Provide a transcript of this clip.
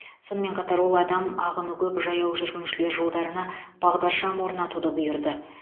сонымен қатар ол адам ағыны көп жаяу жүргіншілер жолдарына бағдаршам орнатуды бұйырды